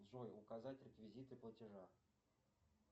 джой указать реквизиты платежа